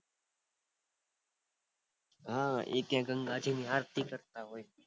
હા ક્યાંક ગંગાજી ની આરતી હોય